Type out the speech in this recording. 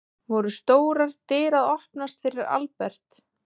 Voru stórar dyr að opnast fyrir Albert?